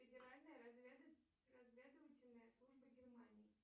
федеральная разведывательная служба германии